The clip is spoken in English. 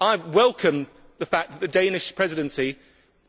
I welcome the fact that the Danish Presidency